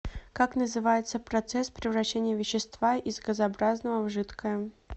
как называется процесс превращения вещества из газообразного в жидкое